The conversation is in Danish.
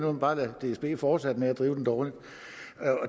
man bare lade dsb fortsætte med at drive den dårligt